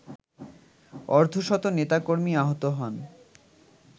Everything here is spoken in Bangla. অর্ধশত নেতাকর্মী আহত হন